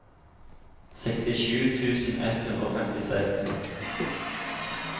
sekstisju tusen ett hundre og femtiseks